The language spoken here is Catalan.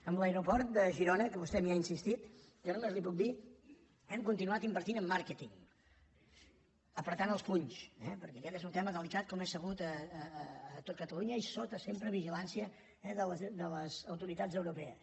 amb l’aeroport de girona que vostè m’hi ha insis·tit jo només li puc dir que hem continuat invertint en màrqueting apretant els punys perquè aquest és un tema delicat com és sabut a tot catalunya i sota sem·pre sota vigilància de les autoritats europees